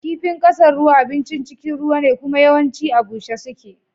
Kifin ƙasan ruwa abincin cikin ruwa ne kuma yawancin a bushe suke.